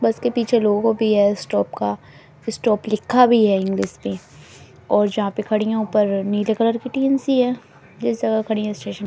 बस के पीछे लोगो भी है स्टॉप का स्टॉप लिखा भी है इंग्लिश में और जहां पे खड़ी है ऊपर नीले कलर की टीन सी है जिस जगह खड़ी है स्टेशन --